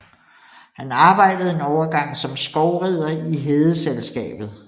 Han arbejdede en overgang som skovrider i Hedeselskabet